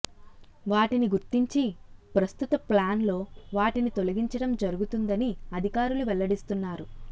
వాటిని గుర్తించి ప్రస్తుత ప్లాన్లో వాటిని తొలగించడం జరుగుతుందని అధికారులు వెల్లడిస్తున్నారు